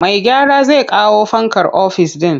Mai gyara zai kawo fankar ofis ɗin.